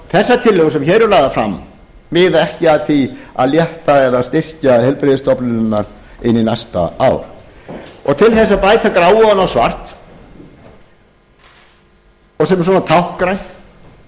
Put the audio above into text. þessar tillögur sem hér eru lagðar fram miða ekki að því að létta eða styrkja heilbrigðisstofnanirnar inn í næsta ár til þess að bæta gráu ofan á svart og sem er táknrænt